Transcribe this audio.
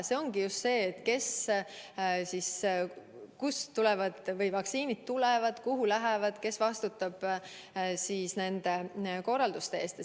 See ongi selle kohta, kust vaktsiinid tulevad, kuhu lähevad, kes vastutab selle korraldustöö eest.